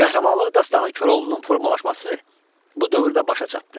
Qəhrəmanlıq dastanı Koroğlunun formalaşması bu dövrdə başa çatdı.